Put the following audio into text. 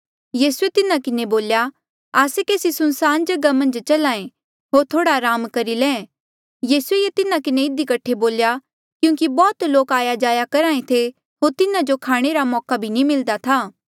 यीसूए तिन्हा किन्हें बोल्या आस्से केसी सुनसान जगहा मन्झ चल्हा ऐें होर थोह्ड़ा अराम करी ले यीसूए ये तिन्हा किन्हें इधी कठे बोल्या क्यूंकि बौह्त लोक आया जाया करहा ऐें थे होर तिन्हा जो खाणे रा मौका भी नी मिल्दा था